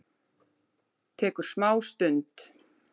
Tekur smá stund.